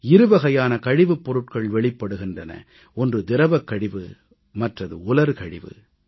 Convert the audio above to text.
இருவகையான கழிவுப்பொருட்கள் வெளிப்படுகின்றன ஒன்று திரவக் கழிவு மற்றது உலர் கழிவு